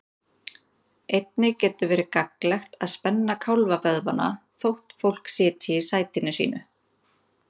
Einnig getur verið gagnlegt að spenna kálfavöðvana þótt fólk sitji í sætinu sínu.